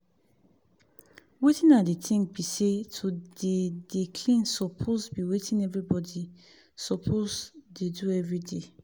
wetin i dey think bi say to de dey clean suppose bi wetin everybody suppose dey do everyday